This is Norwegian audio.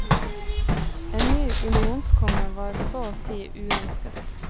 En ny unionskonge var så å si uønsket.